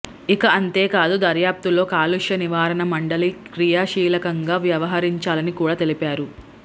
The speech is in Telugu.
ఇక అంతే కాదు దర్యాప్తులో కాలుష్య నివారణా మండలి క్రియాశీలకంగా వ్యవహరించాలని కూడా తెలిపారు